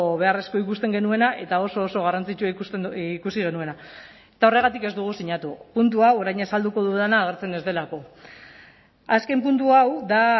beharrezkoa ikusten genuena eta oso oso garrantzitsua ikusi genuena eta horregatik ez dugu sinatu puntu hau orain azalduko dudana agertzen ez delako azken puntu hau da